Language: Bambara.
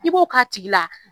I b'o k'a tigi la